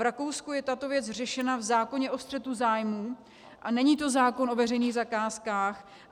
V Rakousku je tato věc řešena v zákoně o střetu zájmů a není to zákon o veřejných zakázkách.